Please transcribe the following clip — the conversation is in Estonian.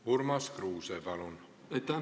Urmas Kruuse, palun!